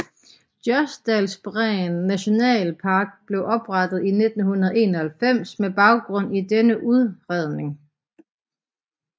Jostedalsbreen nationalpark blev oprettet i 1991 med baggrund i denne udredning